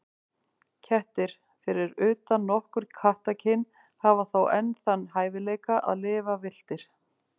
Kettir, fyrir utan nokkur kattakyn, hafa þó enn þann hæfileika að lifa villtir.